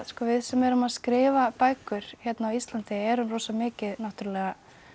við sem erum að skrifa bækur hérna á Íslandi erum rosa mikið náttúrulega